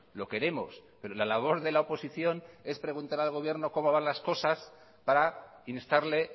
lo queremos pero la labor de la oposición es preguntar al gobierno cómo van las cosas para instarle